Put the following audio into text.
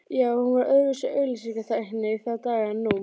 Já, hún var öðruvísi auglýsingatæknin í þá daga en nú.